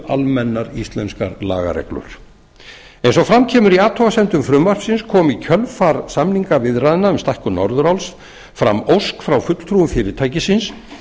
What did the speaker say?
almennar íslenskar lagareglur eins og fram kemur í athugasemdum frumvarpsins kom í kjölfar samningaviðræðna um skatt til norðuráls fram ósk frá fulltrúum fyrirtækisins